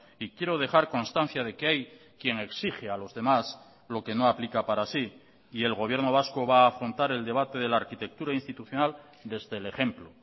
y quiero dejar constancia de que hay quien exige a los demás lo que no aplica para sí y el gobierno vasco va a afrontar el debate de la arquitectura institucional desde el ejemplo